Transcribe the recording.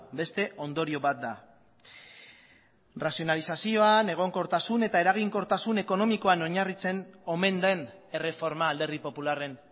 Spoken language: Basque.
beste ondorio bat da razionalizazioan egonkortasun eta eraginkortasun ekonomikoan oinarritzen omen den erreforma alderdi popularren